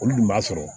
Olu dun b'a sɔrɔ